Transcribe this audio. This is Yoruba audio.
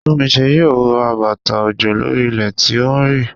Túnmise yóò wọ bàtà òjò lórí ilẹ̀ tí ó ń rì.